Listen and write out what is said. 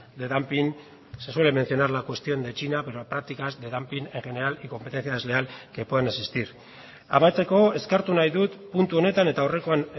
de dumping se suele mencionar la cuestión de china pero prácticas de dumping en general y competencia desleal que pueden existir amaitzeko eskertu nahi dut puntu honetan eta aurrekoan